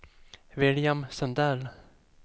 William Sundell